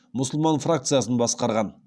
мұсылман фракциясын басқарған